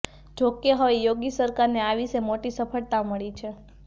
જોકે હવે યોગી સરકારને આ વિશે મોટી સફળતા મળી છે